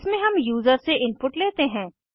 इसमें हम यूज़र से इनपुट लेते हैं